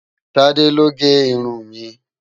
Tade ló gè irún mi